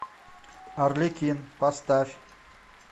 арлекин поставь